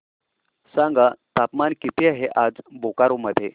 सांगा तापमान किती आहे आज बोकारो मध्ये